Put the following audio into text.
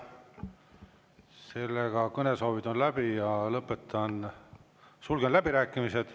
Sellega kõnesoovid on läbi ja lõpetan, sulgen läbirääkimised.